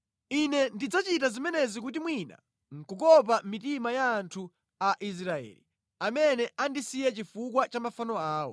Ine ndidzachita zimenezi kuti mwina nʼkukopa mitima ya anthu a Israeli, amene andisiya chifukwa cha mafano awo.’